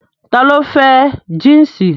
Ta ló fẹ́ jínsì